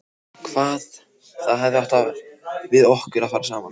Hvað það hefði átt við okkur að fara saman.